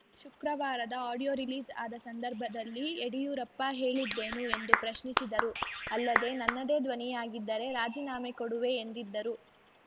ಶುಕ್ರವಾರದ audio release ಆದ ಸಂದರ್ಭದಲ್ಲಿ ಯಡಿಯೂರಪ್ಪ ಹೇಳಿದ್ದೇನು ಎಂದು ಪ್ರಶ್ನಿಸಿದರು ಅಲ್ಲದೆ ನನ್ನದೇ ಧ್ವನಿಯಾಗಿದ್ದರೆ ರಾಜೀನಾಮೆ ಕೊಡುವೆ ಎಂದಿದ್ದರು